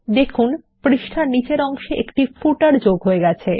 দেখুন একটি পাদলেখ পৃষ্ঠার নীচের অংশে যোগ হয়ে গেছে